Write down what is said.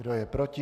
Kdo je proti?